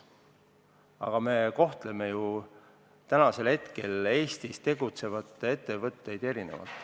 Aga me kohtleme ju praegu Eestis tegutsevaid ettevõtteid erinevalt.